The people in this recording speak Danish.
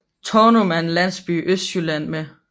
Tånum er en landsby i Østjylland med